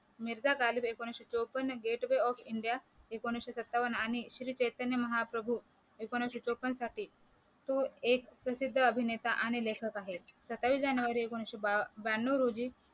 मिरजा गालिब एकोणीशे चौपन्न Gateway of India एकोणीशे सत्त्वान आणि श्री चैतन्य महाप्रभू एकोणीशे चौपन्न साली तो एक प्रसिद्ध अभिनेता आणि लेखक आहे सत्तावीस जानेवारी एकोणीशे बा ब्याण्णव रोजी